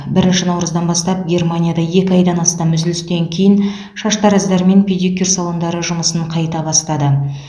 бірінші наурыздан бастап германияда екі айдан астам үзілістен кейін шаштараздар мен педикюр салондары жұмысын қайта бастады